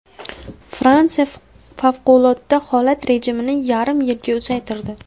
Fransiya favqulodda holat rejimini yarim yilga uzaytirdi.